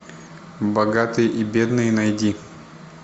богатые и бедные найди